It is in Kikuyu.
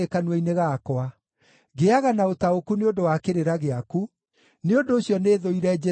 Ngĩĩaga na ũtaũku nĩ ũndũ wa kĩrĩra gĩaku; nĩ ũndũ ũcio nĩthũire njĩra o yothe njũru.